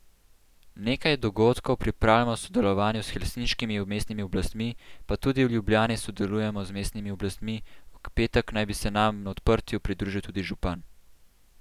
Nekaj dogodkov pripravljamo v sodelovanju s helsinškimi mestnimi oblastmi, pa tudi v Ljubljani sodelujemo z mestnimi oblastmi, v petek naj bi se nam na odprtju pridružil tudi župan.